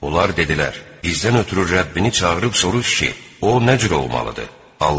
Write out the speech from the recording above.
Onlar dedilər: "Bizdən ötrü Rəbbini çağırıb soruş ki, o nə cür olmalıdır?"